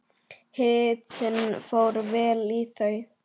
Hitinn fór vel í þau.